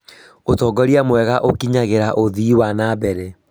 Ūtongoria mwega ũkinyagĩra ũthii wa na mbere